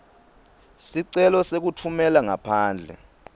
sicelo sekutfumela ngaphandle